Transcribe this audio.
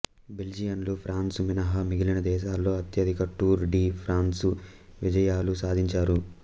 బెల్జియన్లు France మినహా మిగిలిన దేశాలలో అత్యధిక టూర్ డి ఫ్రాన్సు విజయాలు సాధించారు